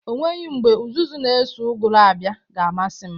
O nweghi mgbe ụzụzu n'eso ụgụrụ abịa ga-amasị m.